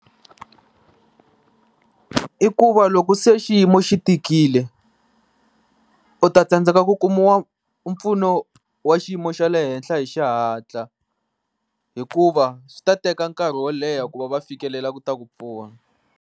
I ku va loko se xiyimo xi tikile u ta tsandzeka ku kuma mpfuno wa xiyimo xa le henhla hi xihatla, hikuva swi ta teka nkarhi wo leha ku va va fikelela ku ta ku pfuna.